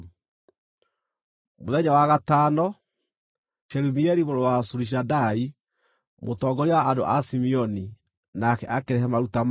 Mũthenya wa gatano, Shelumieli mũrũ wa Zurishadai, mũtongoria wa andũ a Simeoni, nake akĩrehe maruta make.